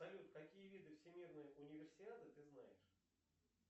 салют какие виды всемирной универсиады ты знаешь